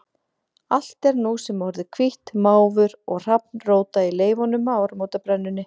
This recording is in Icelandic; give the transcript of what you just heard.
Allt er nú sem orðið hvítt, máfur og hrafn róta í leifunum af áramótabrennunni.